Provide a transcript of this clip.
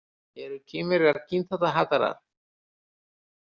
„Eru Kínverjar kynþáttahatarar?“